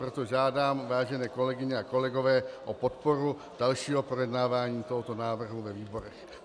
Proto žádám, vážené kolegyně a kolegové, o podporu dalšího projednávání tohoto návrhu ve výborech.